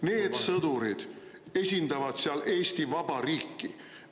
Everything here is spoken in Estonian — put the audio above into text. Need sõdurid esindavad seal Eesti Vabariiki!